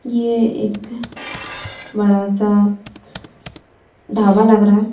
ये एक बड़ा सा ढाबा लग रहा है।--